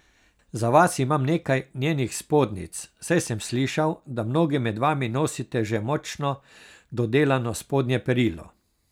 Za vas imam nekaj njenih spodnjic, saj sem slišal, da mnogi med vami nosite že močno dodelano spodnje perilo.